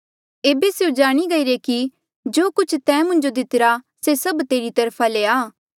एेबे स्यों जाणी गईरे कि जो कुछ तैं मुंजो दीतिरा से सब तेरी तरफा ले आ